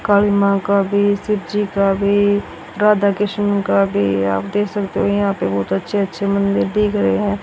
काली मां का भी शिव जी का भी राधा कृष्ण का भी आप दे सकते हो यहां पे बहोत अच्छे-अच्छे मंदिर दिख रहे हैं।